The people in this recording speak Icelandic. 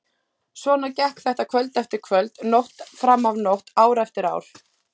Svona gekk þetta kvöld eftir kvöld, nótt fram af nótt, ár eftir ár.